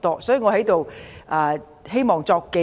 所以，我在這裏希望作紀錄。